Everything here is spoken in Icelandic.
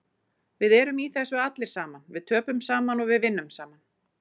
Við erum í þessu allir saman, við töpum saman og við vinnum saman.